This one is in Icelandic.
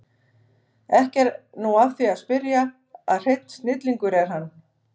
Ekki er nú að því að spyrja að hreinn snillingur er hann